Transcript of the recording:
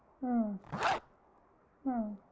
அஹ் அஹ்